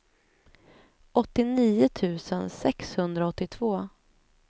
åttionio tusen sexhundraåttiotvå